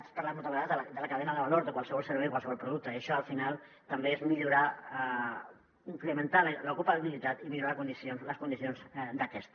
hem parlat moltes vegades de la cadena de valor de qualsevol servei o qualsevol producte i això al final també és millorar incrementar l’ocupabilitat i millorar les condicions d’aquesta